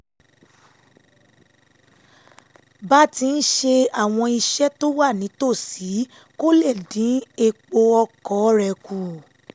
bá ti ń ṣe àwọn iṣẹ́ tó wà nítòsí kó lè dín epo ọkọ̀ ọ rẹ̀ kù